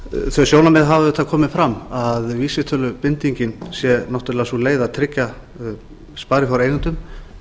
þau sjónarmið hafa auðvitað komið fram að vísitölubindingin sé náttúrlega sú leið að tryggja sparifjáreigendum